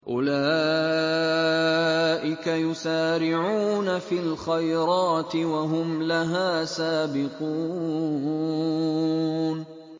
أُولَٰئِكَ يُسَارِعُونَ فِي الْخَيْرَاتِ وَهُمْ لَهَا سَابِقُونَ